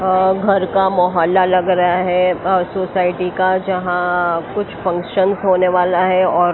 घर का मोहला लग रहा है ओर सोसाइटी का जहां कुछ फंक्शनस होने वाला है और--